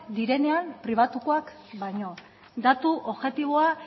direnean pribatukoak baino datu objektiboa